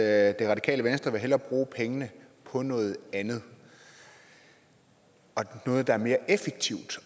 at det radikale venstre hellere vil bruge pengene på noget andet og noget der er mere effektivt